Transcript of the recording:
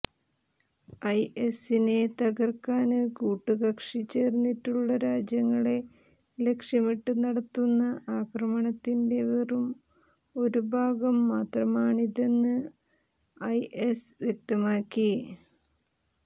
ഐഎസിനെ തകര്ക്കാന് കൂട്ടുകക്ഷി ചേര്ന്നിട്ടുള്ള രാജ്യങ്ങളെ ലക്ഷ്യമിട്ട് നടത്തുന്ന ആക്രമണത്തിന്റെ വെറും ഒരു ഭാഗം മാത്രമാണിതെന്ന് ഐഎസ് വ്യക്തമാക്കി